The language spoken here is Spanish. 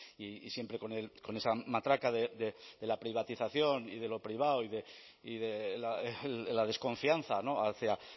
y siempre con esa matraca de la privatización y de lo privado y de la desconfianza hacia